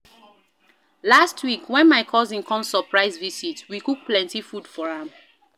Last week, wen my cousin come surprise visit, we cook plenty food for am.